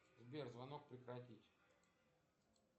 сбер звонок прекратить